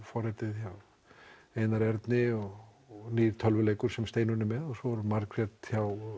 forritið hjá Einari Erni og nýr tölvuleikur sem Steinunn er með og svo er Margrét hjá